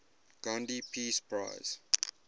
gandhi peace prize